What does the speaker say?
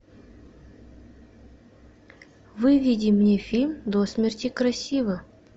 выведи мне фильм до смерти красива